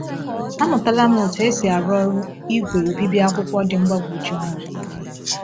“Amụtala m otú e si arụ ọrụ igwe obibi akwụkwọ dị mgbagwoju anya.”